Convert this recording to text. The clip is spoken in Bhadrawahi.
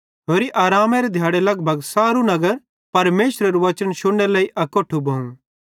होरि आरामेरे दिहाड़े लगभग सारू नगर परमेशरेरू वचन शुन्नेरे लेइ अकोट्ठू भोवं